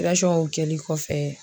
kɔfɛ